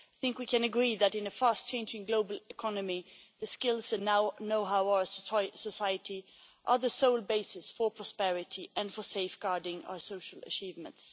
I think we can agree that in a fast changing global economy the skills and know how of our society are the sole basis for prosperity and for safeguarding our social achievements.